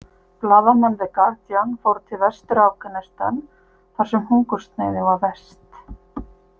Blaðamenn the Guardian fóru til Vestur- Afghanistan þar sem hungursneyðin var verst.